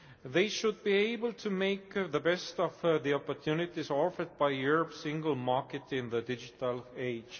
They should be able to make the best of the opportunities offered by Europe's single market in the digital age.